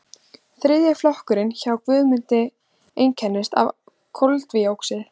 þriðji flokkurinn hjá guðmundi einkennist af koldíoxíði